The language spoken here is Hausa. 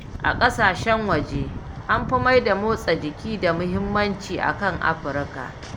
A kasashen waje an fi maida motsa jiki da muhimmanci akan a Africa